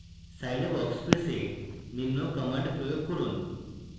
scilab workspace এ নিম্ন commands প্রয়োগ করুন